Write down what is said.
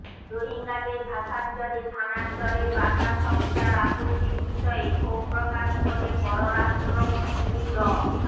রোহিঙ্গাদের ভাসানচরে স্থানান্তরে দাতা সংস্থার আপত্তির বিষয়ে ক্ষোভ প্রকাশ করে পরারাষ্ট্রমন্ত্রী ড